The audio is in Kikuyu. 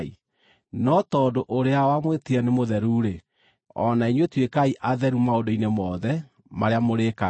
No tondũ ũrĩa wamwĩtire nĩ mũtheru-rĩ, o na inyuĩ tuĩkai atheru maũndũ-inĩ mothe marĩa mũrĩĩkaga;